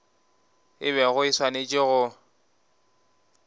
e bego e swanetše go